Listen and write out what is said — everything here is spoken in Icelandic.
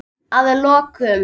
Að lokum.